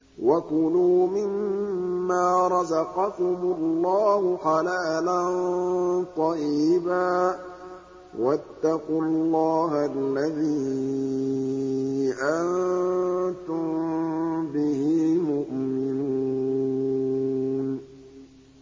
وَكُلُوا مِمَّا رَزَقَكُمُ اللَّهُ حَلَالًا طَيِّبًا ۚ وَاتَّقُوا اللَّهَ الَّذِي أَنتُم بِهِ مُؤْمِنُونَ